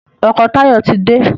ọkọ Tayo tí dé